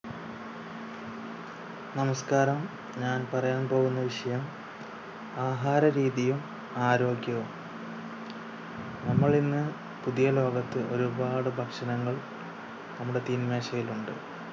നമസ്ക്കാരം ഞാൻ പറയാൻ പോകുന്ന വിഷയം ആഹാര രീതിയും ആരോഗ്യവും. നമ്മൾ ഇന്ന് പുതിയലോകത്ത് ഒരുപാട് ഭക്ഷണങ്ങൾ നമ്മുടെ തീൻ മേശയിൽ ഉണ്ട്